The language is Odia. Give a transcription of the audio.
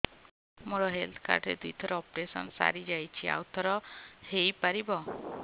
ମୋର ହେଲ୍ଥ କାର୍ଡ ରେ ଦୁଇ ଥର ଅପେରସନ ସାରି ଯାଇଛି ଆଉ ଥର ହେଇପାରିବ